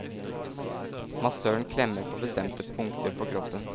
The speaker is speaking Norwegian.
Massøren klemmer på bestemte punkter på kroppen.